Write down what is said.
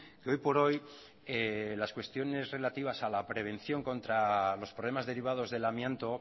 que hoy por hoy las cuestiones relativas a la prevención contra los problemas derivados del amianto